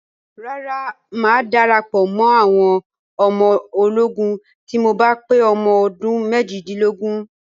Rárá, mà á darapọ̀ mọ́ àwọn ọmọ ológun tí mo bá pé ọmọ ọdún méjìdínlógún.